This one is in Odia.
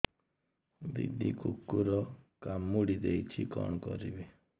ଦିଦି କୁକୁର କାମୁଡି ଦେଇଛି କଣ କରିବି